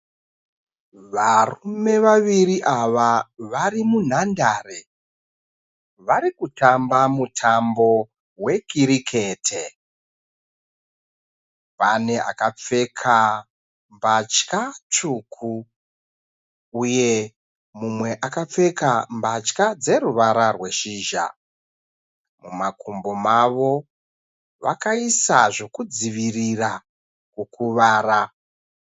Varume vaviri ava vari munhandare, vari kutamba mutambo we kirikete, pane akapfeka mbatya tsvuku, uye mumwe akapfeka mbatya dzeruvara reshizha, mumakumbo mavo vakaisa zvekudzivirira kukwara.